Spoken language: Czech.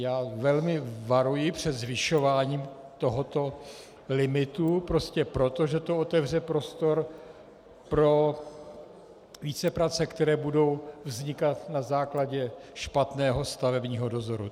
Já velmi varuji před zvyšováním tohoto limitu prostě proto, že to otevře prostor pro vícepráce, které budou vznikat na základě špatného stavebního dozoru.